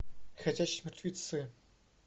ходячие мертвецы